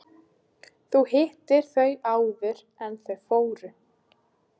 Þú hittir þau áður en þau fóru.